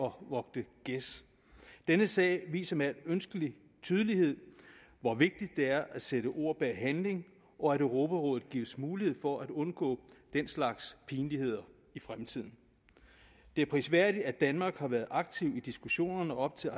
vogte gæs denne sag viser med al ønskelig tydelighed hvor vigtigt det er at sætte ord bag handling og at europarådet gives mulighed for at undgå den slags pinligheder i fremtiden det er prisværdigt at danmark har været aktiv i diskussionerne op til